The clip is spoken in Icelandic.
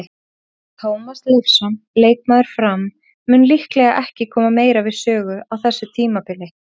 Tómas Leifsson, leikmaður Fram, mun líklega ekki koma meira við sögu á þessu tímabili.